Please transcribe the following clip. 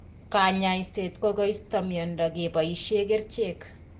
Kanyaiset ko koisto miondo kepoishe kerchek